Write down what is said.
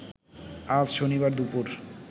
আজ শনিবার দুপুর